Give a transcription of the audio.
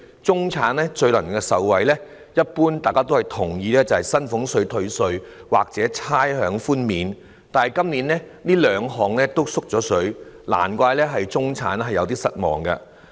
大家一般都認同，最能讓中產受惠的措施是薪俸稅退稅或差餉寬免，但今年這兩項措施同樣"縮水"，難怪中產感到有點失望。